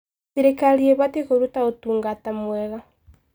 Thirikari ĩbatiĩ kũruta ũtungata mwega.